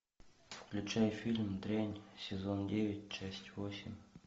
включай фильм дрянь сезон девять часть восемь